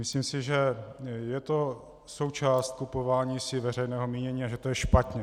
Myslím si, že je to součást kupování si veřejného mínění a že to je špatně.